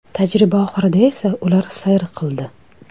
Tajriba oxirida esa ular sayr qildi.